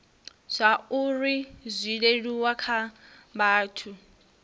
zwauri zwi leluwe kha vhathu